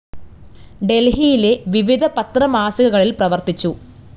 ഡൽഹിയിലെ വിവിധ പത്ര മാസികകളിൽ പ്രവർത്തിച്ചു.